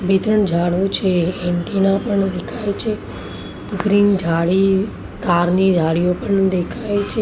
બે ત્રણ ઝાડો છે એન્ટિના પણ દેખાય છે ગ્રીન ઝાડી કાર ની ઝાડીઓ પણ દેખાય છે.